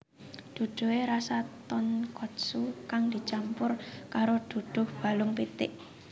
Duduhe rasa tonkotsu kang dicampur karo duduh balung pitik